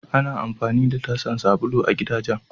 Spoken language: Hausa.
Ana amfani da tasan sabulu a gidajen.